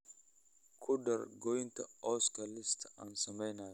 ku dar goynta cawska liiska aan samaynayo